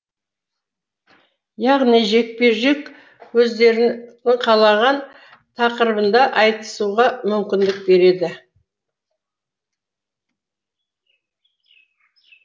яғни жекпе жек өздерінің қалаған тақырыбында айтысуға мүмкіндік береді